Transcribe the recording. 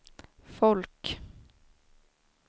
folk